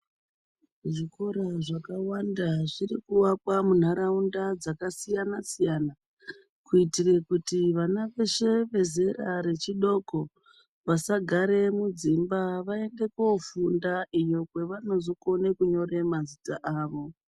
Zvikora zvakawanda zviri kuakwa munharaunda dzakasiyana siyana kuitira kuti vana veshe vezera rechidoko vasagara mudzimba vaende kofunda uko kwavanozokona kunyora mazita avo.